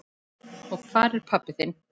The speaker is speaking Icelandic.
Og hvar er pabbi þinn?